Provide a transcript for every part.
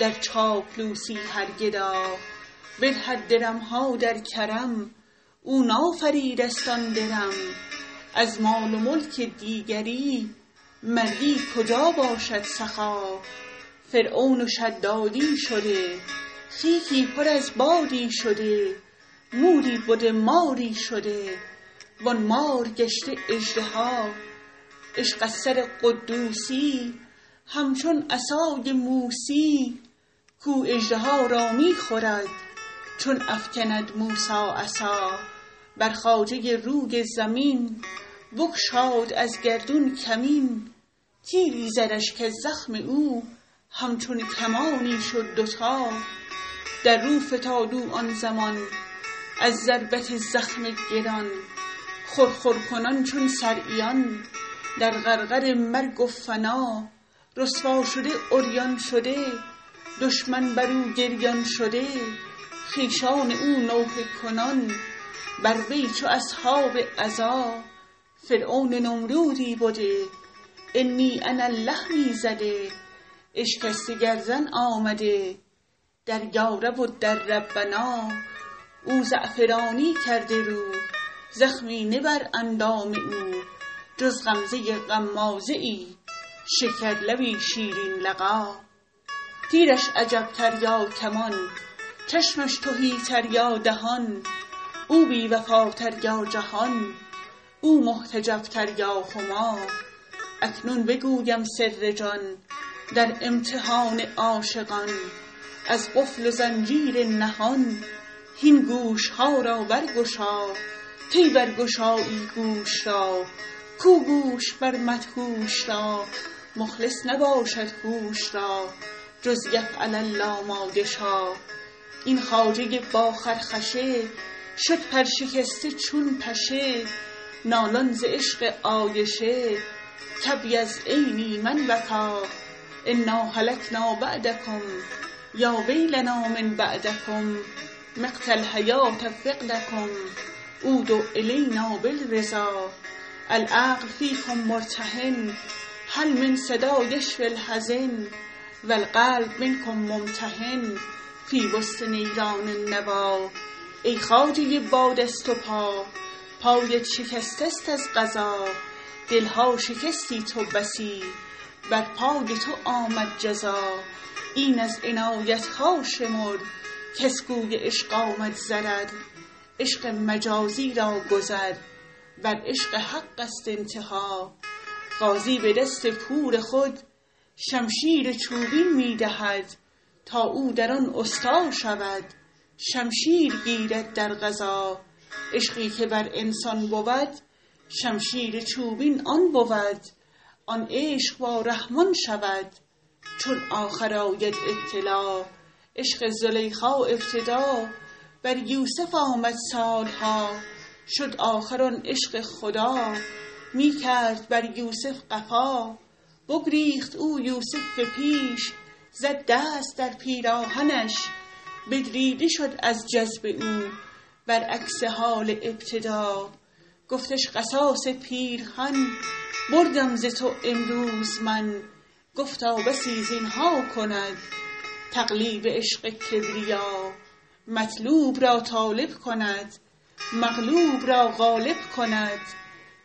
در چاپلوسی هر گدا بدهد درم ها در کرم او نافریده ست آن درم از مال و ملک دیگری مردی کجا باشد سخا فرعون و شدادی شده خیکی پر از بادی شده موری بده ماری شده وان مار گشته اژدها عشق از سر قدوسی یی همچون عصای موسی یی کاو اژدها را می خورد چون افکند موسی عصا بر خواجه روی زمین بگشاد از گردون کمین تیری زدش کز زخم او همچون کمانی شد دوتا در رو فتاد او آن زمان از ضربت زخم گران خرخر کنان چون صرعیان در غرغره مرگ و فنا رسوا شده عریان شده دشمن بر او گریان شده خویشان او نوحه کنان بر وی چو اصحاب عزا فرعون و نمرودی بده انی انا الله می زده اشکسته گردن آمده در یارب و در ربنا او زعفرانی کرده رو زخمی نه بر اندام او جز غمزه غمازه ای شکرلبی شیرین لقا تیرش عجب تر یا کمان چشمش تهی تر یا دهان او بی وفاتر یا جهان او محتجب تر یا هما اکنون بگویم سر جان در امتحان عاشقان از قفل و زنجیر نهان هین گوش ها را برگشا کی برگشایی گوش را کو گوش مر مدهوش را مخلص نباشد هوش را جز یفعل الله ما یشا این خواجه با خرخشه شد پرشکسته چون پشه نالان ز عشق عایشه کابیض عینی من بکا انا هلکنا بعدکم یا ویلنا من بعدکم مقت الحیوه فقدکم عودوا الینا بالرضا العقل فیکم مرتهن هل من صدا یشفی الحزن و القلب منکم ممتحن فی وسط نیران النوی ای خواجه با دست و پا پایت شکسته ست از قضا دل ها شکستی تو بسی بر پای تو آمد جزا این از عنایت ها شمر کز کوی عشق آمد ضرر عشق مجازی را گذر بر عشق حق ست انتها غازی به دست پور خود شمشیر چوبین می دهد تا او در آن استا شود شمشیر گیرد در غزا عشقی که بر انسان بود شمشیر چوبین آن بود آن عشق با رحمان شود چون آخر آید ابتلا عشق زلیخا ابتدا بر یوسف آمد سال ها شد آخر آن عشق خدا می کرد بر یوسف قفا بگریخت او یوسف پی اش زد دست در پیراهنش بدریده شد از جذب او برعکس حال ابتدا گفتش قصاص پیرهن بردم ز تو امروز من گفتا بسی زین ها کند تقلیب عشق کبریا مطلوب را طالب کند مغلوب را غالب کند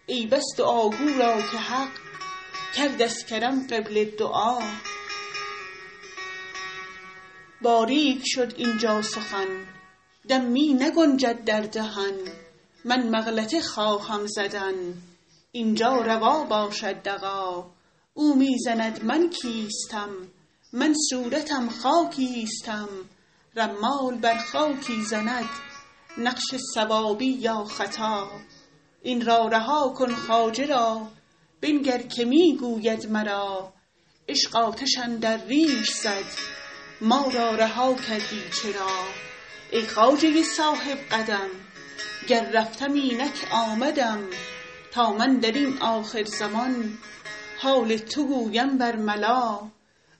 ای بس دعاگو را که حق کرد از کرم قبله دعا باریک شد اینجا سخن دم می نگنجد در دهن من مغلطه خواهم زدن این جا روا باشد دغا او می زند من کیستم من صورتم خاکیستم رمال بر خاکی زند نقش صوابی یا خطا این را رها کن خواجه را بنگر که می گوید مرا عشق آتش اندر ریش زد ما را رها کردی چرا ای خواجه صاحب قدم گر رفتم اینک آمدم تا من در این آخرزمان حال تو گویم برملا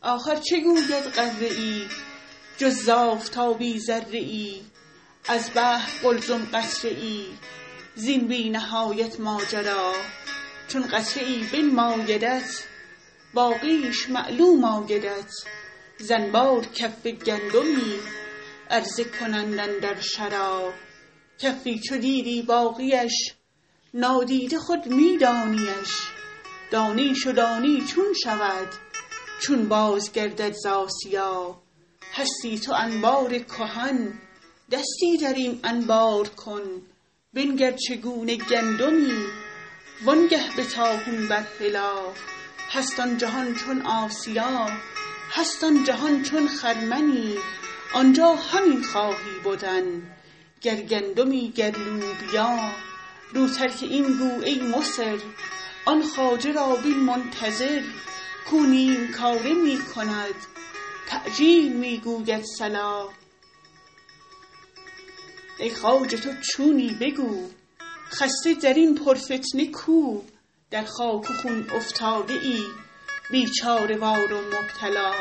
آخر چه گوید غره ای جز ز آفتابی ذره ای از بحر قلزم قطره ای زین بی نهایت ماجرا چون قطره ای بنمایدت باقیش معلوم آیدت ز انبار کف گندمی عرضه کنند اندر شرا کفی چو دیدی باقی اش نادیده خود می دانی اش دانیش و دانی چون شود چون بازگردد ز آسیا هستی تو انبار کهن دستی در این انبار کن بنگر چگونه گندمی وانگه به طاحون بر هلا هست آن جهان چون آسیا هست این جهان چون خرمنی آنجا همین خواهی بدن گر گندمی گر لوبیا رو ترک این گو ای مصر آن خواجه را بین منتظر کاو نیم کاره می کند تعجیل می گوید صلا ای خواجه تو چونی بگو خسته در این پرفتنه کو در خاک و خون افتاده ای بیچاره وار و مبتلا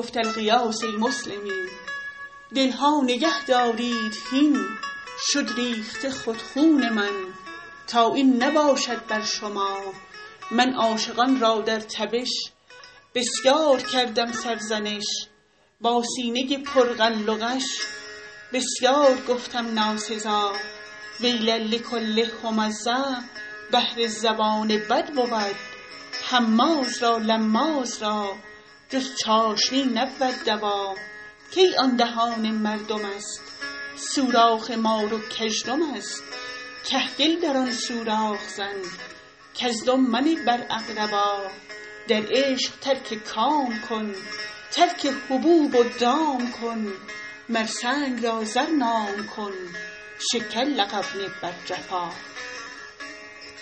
گفت الغیاث ای مسلمین دل ها نگهدارید هین شد ریخته خود خون من تا این نباشد بر شما من عاشقان را در تبش بسیار کردم سرزنش با سینه پر غل و غش بسیار گفتم ناسزا ویل لکل همزه بهر زبان بد بود هماز را لماز را جز چاشنی نبود دوا کی آن دهان مردم است سوراخ مار و کژدم است کهگل در آن سوراخ زن کزدم منه بر اقربا در عشق ترک کام کن ترک حبوب و دام کن مر سنگ را زر نام کن شکر لقب نه بر جفا